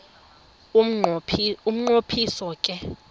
umnqo phiso ke